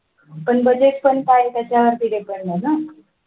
पण budget पण पाय त्याचं वरती depend